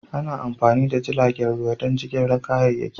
Ana amfani da jiragen ruwa don jigilar kayayyaki.